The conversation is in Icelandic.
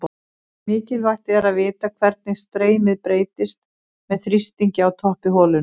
Mikilvægt er að vita hvernig streymið breytist með þrýstingi á toppi holunnar.